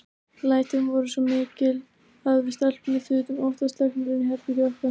Lætin voru svo mikil að við stelpurnar þutum óttaslegnar inn í herbergið okkar.